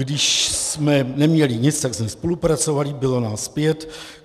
Když jsme neměli nic, tak jsme spolupracovali, bylo nás pět.